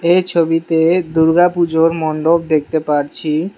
এ ছবিতে দূর্গা পুজোর মন্ডপ দেখতে পারছি।